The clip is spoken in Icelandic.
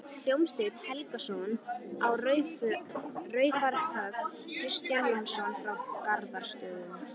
Hólmsteinn Helgason á Raufarhöfn, Kristján Jónsson frá Garðsstöðum